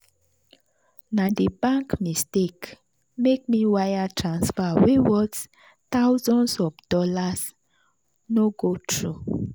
na the bank mistake make wire transfer wey worth thousands of dollars no go through.